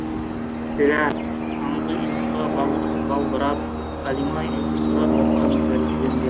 сірә таңғы ұйқыға балбырап қалима ұйқысырап жатқан тәрізденді